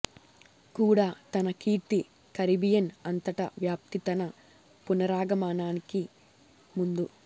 కూడా తన కీర్తి కరీబియన్ అంతటా వ్యాప్తి తన పునరాగమనానికి ముందు